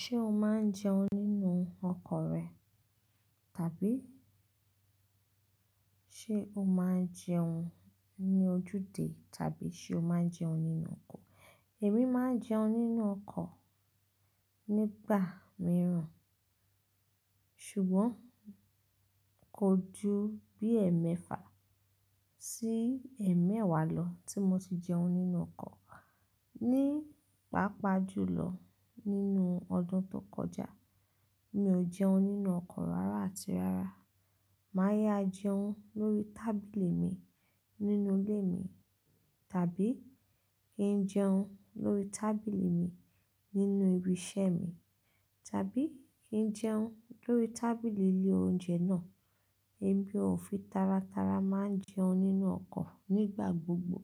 Ṣé o máa ń jẹun nínú ọkọ̀ rẹ? Tàbí ṣé o máa ń jẹun ní ojúde tàbí ṣé o máa ń jẹun nínú ọkọ̀? Èmi máa ń jẹun nínú ọkọ̀ nígbà mìíràn, ṣùgbọ́n kò ju bí ẹ̀mẹ́fà sí ẹ̀mẹ́wá lọ tí mo ti jẹun nínú ọkọ̀. Ní pàápàá jùlọ, nínú ọdún tó kọjá, mi ò jẹun nínú ọkọ̀ rárá àti rárá. Màá ya jẹun lórí tábìlì mi nínú ilé mi, tàbí kí n jẹun lórí tábìlì mi nínú ibi iṣẹ́ mi, tàbí kí n jẹun lórí tábìlì ilé oúnjẹ náà. Èmi ò fi tárátárá máa ń jẹun nínú ọkọ̀ nígbà gbogbo.